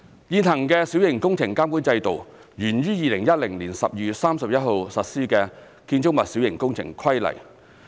現行的小型工程監管制度源於2010年12月31日實施的《建築物規例》。